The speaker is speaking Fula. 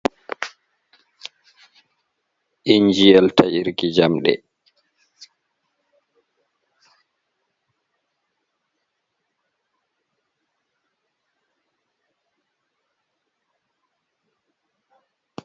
Injiyel ta irki jamɗe.